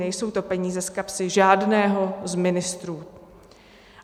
Nejsou to peníze z kapsy žádného z ministrů.